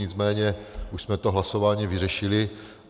Nicméně už jsme to hlasováním vyřešili.